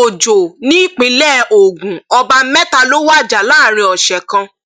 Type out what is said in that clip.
òjò nípìnlẹ ogun ọba mẹta ló wájà láàrin ọsẹ kan